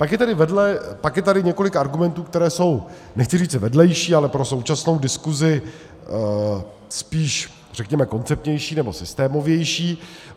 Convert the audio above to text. Pak je tady několik argumentů, které jsou, nechci říci vedlejší, ale pro současnou diskusi spíš řekněme koncepčnější nebo systémovější.